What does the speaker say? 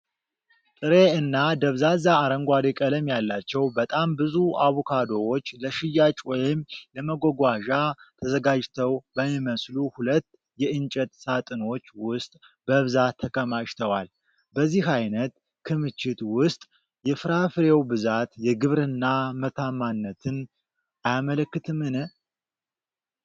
ጥሬ እና ደብዛዛ አረንጓዴ ቀለም ያላቸው በጣም ብዙ አቮካዶዎች፣ ለሽያጭ ወይም ለመጓጓዣ ተዘጋጅተው በሚመስሉ ሁለት የእንጨት ሳጥኖች ውስጥ በብዛት ተከማችተዋል፤ በዚህ አይነት ክምችት ውስጥ የፍራፍሬው ብዛት የግብርና ምርታማነትን አያመለክትምን?